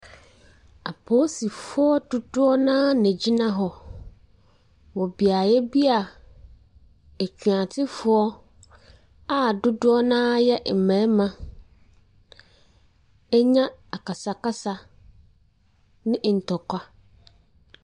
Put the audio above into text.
Apolisifoɔ dodoɔ no ara na wɔgyina hɔ wɔ beaeɛ bi a atuatefoɔ a dodoɔ no ara yɛ mmarima anya akasakasa ne ntɔkwa.